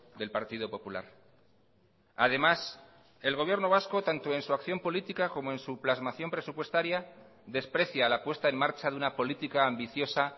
del partido popular además el gobierno vasco tanto en su acción política como en su plasmación presupuestaria desprecia la puesta en marcha de una política ambiciosa